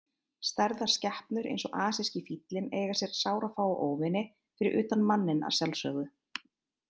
Stærðar skepnur eins og asíski fíllinn eiga sér sárafáa óvini, fyrir utan manninn að sjálfsögðu.